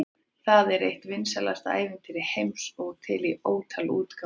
Það er eitt vinsælasta ævintýri heimsins og til í ótal útgáfum.